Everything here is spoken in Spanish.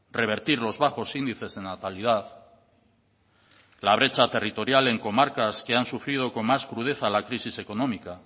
revertir los bajos índices de natalidad la brecha territorial en comarcas que han sufrido con más crudeza la crisis económica